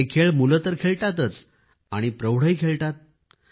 हे खेळ मुलं तर खेळतातच आणि प्रौढही खेळत आहेत